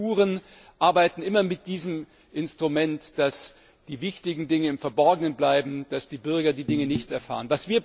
Diktaturen arbeiten immer mit diesem Instrument, dass die wichtigen Dinge im Verborgenen bleiben, dass die Bürger die Dinge nicht erfahren.